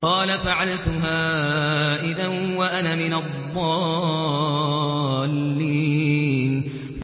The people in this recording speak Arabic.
قَالَ فَعَلْتُهَا إِذًا وَأَنَا مِنَ الضَّالِّينَ